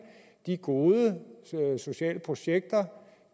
de gode sociale projekter